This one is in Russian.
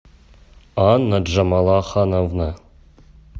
анна джамалахановна